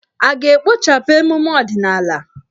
A ga-ekpochapụ emume ọdịnala?